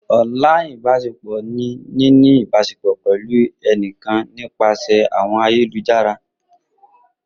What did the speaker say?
online ibaṣepọ ni nini a ibasepọ pẹlu ẹnikan nipasẹ awọn ayelujara.